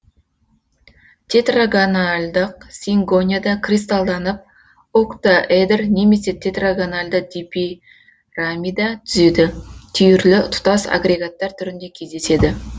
тетрагональдық сингонияда кристалданып октаэдр немесе тетрагональды дипирамида түзеді түйірлі тұтас агрегаттар түрінде кездеседі